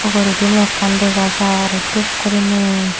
oguridi mekan dega jar dup guriney.